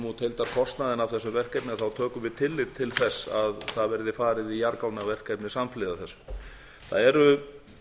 út heildarkostnaðinn af þessu verkefni tökum við tillit til þess að það verði farið í jarðgangaverkefni samhliða þessu það eru